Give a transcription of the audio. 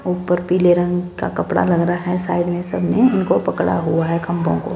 ऊपर पीले रंग का कपड़ा लग रहा है साइड में सब ने इनको पकड़ा हुआ है खंभों को।